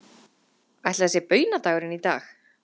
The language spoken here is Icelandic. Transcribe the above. Ætli það sé baunadagurinn í dag?